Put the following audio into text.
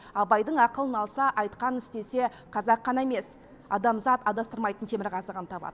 абайдың ақылын алса айтқанын істесе қазақ қана емес адамзат адастырмайтын темірқазығын табады